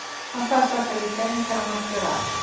Hann kvaðst ætla að líta inn þegar hann mætti vera að.